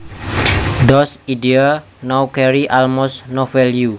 Those ideas now carry almost no value